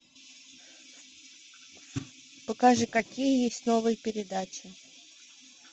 покажи какие есть новые передачи